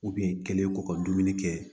kelen kɔ ka dumuni kɛ